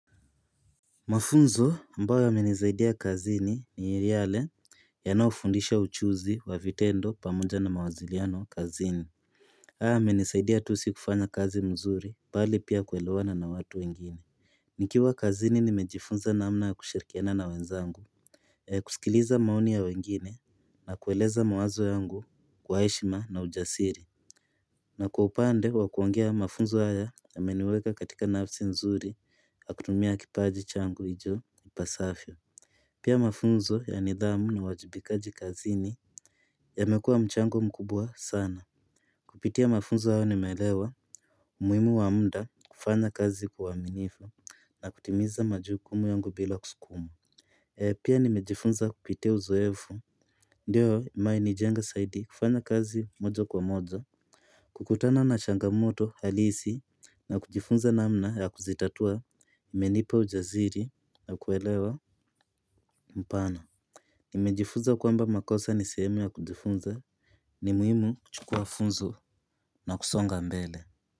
Mafunzo ambaoyo imenisaidia kazini ni yale ya naofundisha uchuzi wa vitendo pamoja na mawaziliano kazini. Haya yamenisaidia tu si kufanya kazi mzuri bali pia kuwelewana na watu wengine. Nikiwa kazini nimejifunza naamna ya kushirkiana na wenzangu. Kusikiliza maoni ya wengine na kueleza mawazo yangu kwa eshima na ujasiri. Na kwa upande wa kuongea mafunzo haya yameniweka katika nafsi nzuri akutumia kipaji changu icho ipasafyo. Pia mafunzo ya nidhamu na wajibika jikazini. Yamekua mchango mkubwa sana. Kupitia mafunzo hayo nimelewa umuimu wa muda kufanya kazi kwa uwaminifu. Na kutimiza majukumu yungu bila kusukumwa. Pia nimejifunza kupitia uzoevu. Ndiyo mai ni jenga saidi kufanya kazi moja kwa moja. Kukutana na changamoto halisi na kujifunza naamna ya kuzitatua imenipa ujaziri na kuelewa mpana. Nimejifunza kwamba makosa ni sehemu ya kujifunza ni muhimu kuchukua funzo na kusonga mbele.